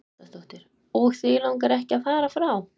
Karen Kjartansdóttir: Og þig langar ekki að fara frá?